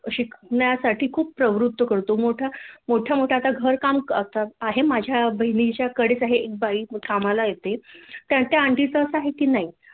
शिकण्यासाठी खूप प्रवृत्त करतो मोठ्या मोठ्या मोठ्या आता घरकाम करतात आहे माझ्या बहिणीच्याकडेच आहे एक बाई कामाला येते त्या त्या ऑंटी च अस आहे की नाही